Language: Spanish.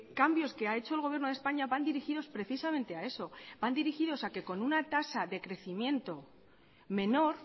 cambios que ha hecho el gobierno de españa van dirigidos precisamente a eso van dirigidos a que con una tasa de crecimiento menor